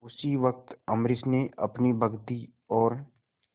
उसी वक्त अम्बरीश ने अपनी भक्ति और